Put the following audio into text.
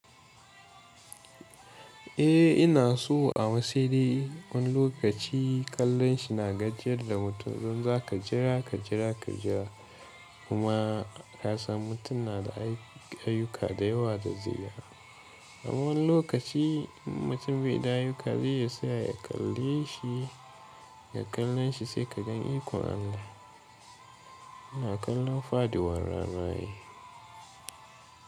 Eh ina so amma saide. Wani lokaci kallon shi na gajiyar da mutum. Don za ka jira, ka jira, ka jira kuma ka san mutum na da ayyuka da yawa da zuri'a. A wani lokaci mutum bai da ayyuka, zai iya saya ya kalle shi, ya kalle shi sai ka gan ikon Allah. Ina kallon faduwar rana ne.